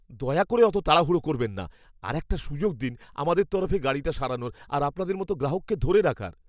দয়া করে অত তাড়াহুড়ো করবেন না। আরেকটা সুযোগ দিন আমাদের তরফে গাড়িটা সারানোর আর আপনাদের মতো গ্রাহককে ধরে রাখার।